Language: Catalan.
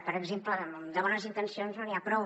per exemple amb bones intencions no n’hi ha prou